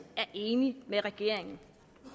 er enig med regeringen